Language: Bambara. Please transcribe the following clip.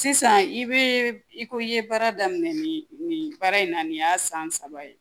Sisan i bɛ i ko i ye baara daminɛ nin nin baara in na nin y'a san saba ye